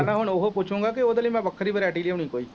ਮੈਂ ਤਾਂ ਹੁਣ ਉਹੋ ਪੁੱਛੂਗਾਂ ਕਿ ਉਹਦੇ ਲਈ ਮੈਂ ਵੱਖਰੀ variety ਲਿਆਉਣੀ ਕੋਈ